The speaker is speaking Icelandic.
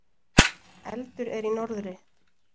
Eldur er í norðri.